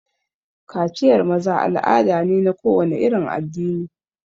Kaciyar maza al'ada ne na kowane irin addini.